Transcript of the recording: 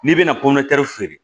N'i bɛna feere